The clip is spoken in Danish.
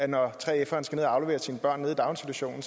når 3feren skal aflevere sine børn nede i daginstitutionen